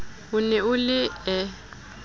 o ne o le e